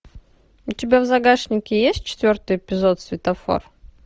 у тебя в загашнике есть четвертый эпизод светофор